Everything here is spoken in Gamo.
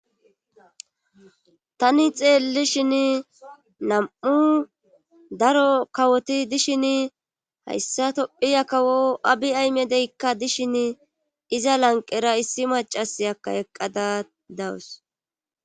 Tani xeellishin nam7u daro kawoti dishin hayssa tophiya kawo abi aymedeykka dishin iza lanqera issi macas aka eqqada dawus.